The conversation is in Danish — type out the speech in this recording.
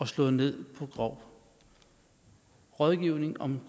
slået ned på rådgivning om